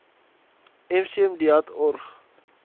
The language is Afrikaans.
mcm deat org